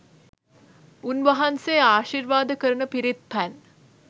උන් වහන්සේ ආශිර්වාද කරන පිරිත් පැන්